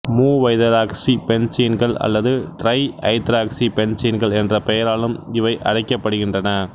மூவைதராக்சிபென்சீன்கள் அல்லது டிரை ஐதராக்சி பென்சீன்கள் என்ற பெயராலும் இவை அழைக்கப்படுகின்றன